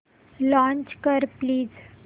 launch कर please